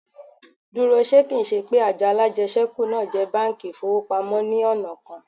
Dúró, ṣe kì ń ṣe pé àjọ alájẹṣẹ́kù náà jẹ́ báńkì ìfowópamọ́ ní ọ̀nà kan?